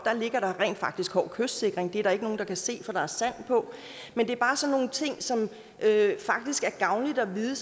rent faktisk ligger hård kystsikring det er der ikke nogen der kan se for der er sand på men det er bare sådan nogle ting som det faktisk er gavnligt at vide